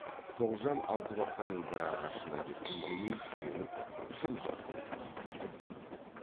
тоғжан алтыбақанның бір ағашына кеп үндемей сүйеніп жым жырт тұрып қапты